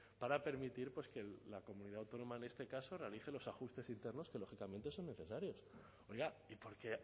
para permitir que la comunidad autónoma en este caso realice los ajustes internos que lógicamente son necesarios oiga y por qué